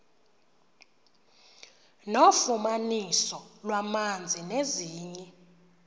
nofumaniso lwamanzi nezinye